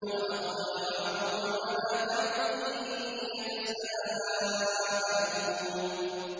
وَأَقْبَلَ بَعْضُهُمْ عَلَىٰ بَعْضٍ يَتَسَاءَلُونَ